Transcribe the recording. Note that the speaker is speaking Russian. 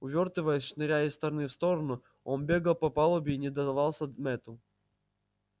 увёртываясь шныряя из стороны в сторону он бегал по палубе и не давался мэтту